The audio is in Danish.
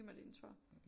Mig din 2'er